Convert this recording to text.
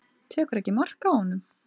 Tekur ekki mark á honum.